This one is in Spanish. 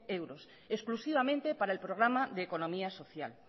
euros exclusivamente para el programa de economía social